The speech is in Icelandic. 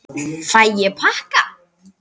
Fæ ég pakka?